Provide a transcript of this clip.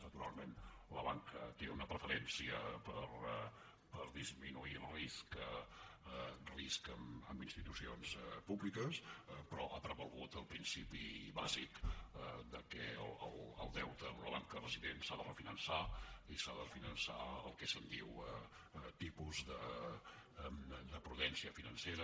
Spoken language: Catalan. naturalment la banca té una preferència per disminuir risc amb institucions públiques però ha prevalgut el principi bàsic que el deute d’una banca resident s’ha de refinançar i s’ha de refinançar el que se’n diu tipus de prudència financera